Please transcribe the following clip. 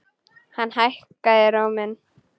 Hann hækkaði róminn.